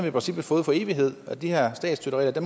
i princippet fået for evighed og de her statsstøtteregler